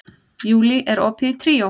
Júlí, er opið í Tríó?